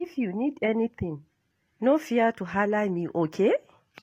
If you need anything, no fear to halla me, okay?